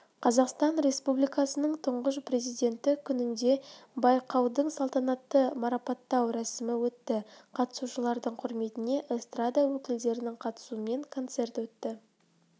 қазақстан республикасының тұңғыш президенті күнінде байқаудыңсалтанатты марапаттау рәсімі өтті қатысушылардың құрметіне эстрада өкілдерінің қатысуымен концерт өтті